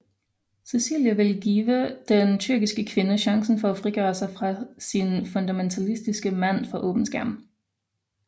Cecilie vil give den tyrkiske kvinde chancen for at frigøre sig fra sin fundamentalistiske mand for åben skærm